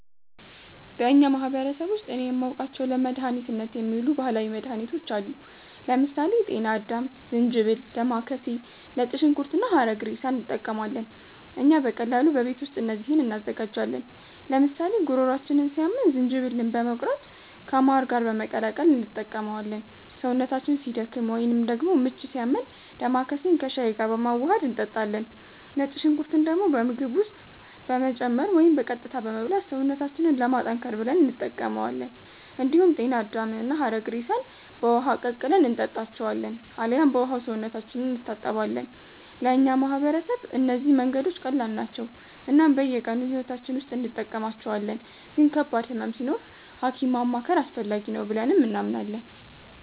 በእኛ ማህበረሰብ ውስጥ እኔ የማውቃቸው ለመድኃኒትነት የሚውሉ ባህላዊ መድኃኒቶች አሉ። ለምሳሌ ጤና አዳም፣ ዝንጅብል፣ ዴማከሴ፣ ነጭ ሽንኩርት እና ሐረግሬሳ እንጠቀማለን። እኛ በቀላሉ በቤት ውስጥ እነዚህን እንዘጋጃለን፤ ለምሳሌ ጉሮሯችንን ሲያመን ዝንጅብልን በመቁረጥ ከማር ጋር በመቀላቀል እንጠቀመዋለን። ሰውነታችን ሲደክም ወይንም ደግሞ ምች ሲያመን ዴማከሴን ከሻይ ጋር በማዋሀድ እንጠጣለን። ነጭ ሽንኩርትን ደግሞ በምግብ ውስጥ በመጨመር ወይም በቀጥታ በመብላት ሰውነታችንን ለማጠንከር ብለን እንጠቀማዋለን። እንዲሁም ጤና አዳምና ሐረግሬሳን በውሃ ቀቅለን እንጠጣቸዋለን አልያም በውሃው ሰውነታችንን እንታጠባለን። ለእኛ ማህበረሰብ እነዚህ መንገዶች ቀላል ናቸው እናም በየቀኑ ሕይወታችን ውስጥ እንጠቀማቸዋለን፤ ግን ከባድ ህመም ሲኖር ሀኪም ማማከር አስፈላጊ ነው ብለንም እናምናለን።